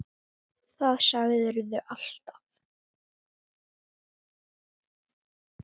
Það sagðir þú alltaf.